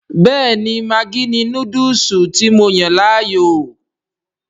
Bẹ́ẹ̀ni maggi ni Núdùùsù tí mo yàn láàyò